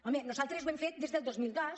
home nosaltres ho hem fet des del dos mil dos